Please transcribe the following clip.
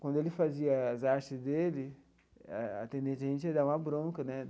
Quando ele fazia as artes dele, a tendência da gente era dar uma bronca, né?